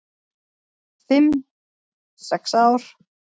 """Fimm, sex ár?"""